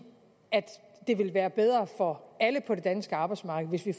at det ville være bedre for alle på det danske arbejdsmarked hvis vi